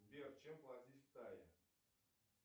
сбер чем платить в тае